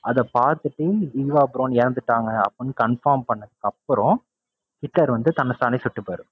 அதைப்பாத்துட்டு Eva Braun இறந்துட்டாங்க அப்படின்னு confirm பண்ணதுக்கப்பறம் ஹிட்லர் வந்து தன்னை தானே சுட்டுக்குவாரு.